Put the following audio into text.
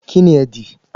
Kínní ẹ dì?